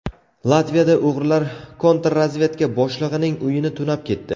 Latviyada o‘g‘rilar kontrrazvedka boshlig‘ining uyini tunab ketdi.